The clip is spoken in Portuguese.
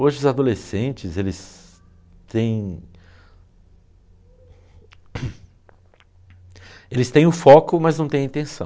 Hoje os adolescentes, eles têm o foco, mas não têm a intenção.